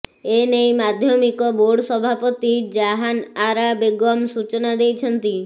ଏେନଇ ମାଧ୍ୟମିକ ବୋର୍ଡ ସଭାପତି ଜାହାନଆରା ବେଗମ୍ ସୂଚନା ଦେଇଛନ୍ତି